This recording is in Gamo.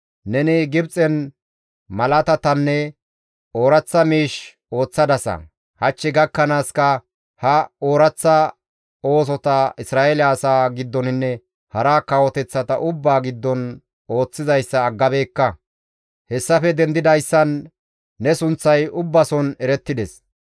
Neni Gibxen malaatatanne ooraththa miish ooththadasa; hach gakkanaaska ha ooraththa oosota Isra7eele asaa giddoninne hara kawoteththata ubbaa giddon ooththizayssa aggabeekka. Hessafe dendidayssan ne sunththay ubbason erettides.